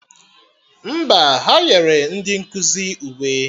Mba, ha nyere ndị nkụzi uwe